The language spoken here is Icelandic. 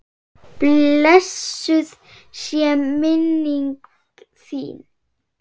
Blessuð sé minning þín!